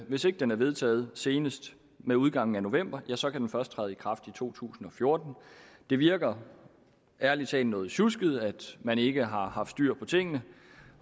hvis ikke den er vedtaget senest med udgangen af november ja så kan den først træde i kraft i to tusind og fjorten det virker ærlig talt noget sjusket at man ikke har haft styr på tingene